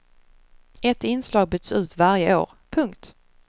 Ett inslag byts ut varje år. punkt